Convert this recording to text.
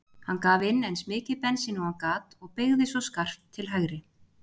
Hann gaf inn eins mikið bensín og hann gat og beygði svo skarpt til hægri.